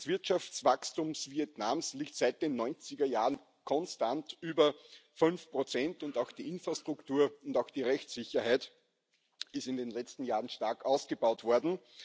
Das Wirtschaftswachstum Vietnams liegt seit den 90er Jahren konstant über 5 und auch die Infrastruktur und die Rechtssicherheit sind in den letzten Jahren stark ausgebaut worden.